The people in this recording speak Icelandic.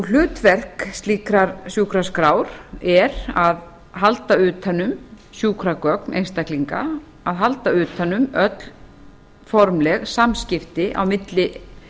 hlutverk slíkrar sjúkraskrár er að halda utan um sjúkragögn einstaklinga að halda utan um öll formleg samskipti á milli